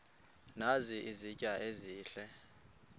nazi izitya ezihle